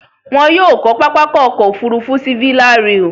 Wọn yóò kọ́ pápákọ̀ ọkọ̀ òfurufú sí Villarreal.